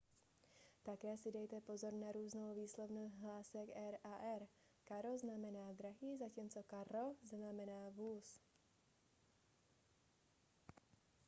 také si dejte pozor na různou výslovnost hlásek r a rr caro znamená drahý zatímco carro znamená vůz